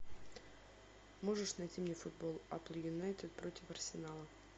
можешь найти мне футбол апл юнайтед против арсенала